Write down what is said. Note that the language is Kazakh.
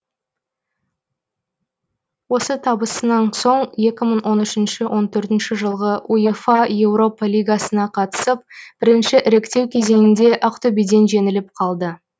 осы табысынан соң екі мың он үшінші он төртінші жылғы уефа еуропа лигасына қатысып бірінші іріктеу кезеңінде ақтөбеден жеңіліп қалды